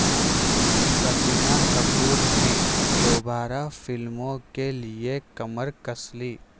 کرینہ کپور نے دوبارہ فلموں کے لیے کمر کس لی